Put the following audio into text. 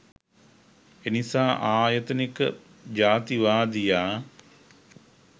එනිසා ආයතනික ජාතිවාදියා